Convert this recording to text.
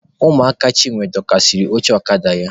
Ụmụaka Chinwe dọkasịrị oche ọkada ya.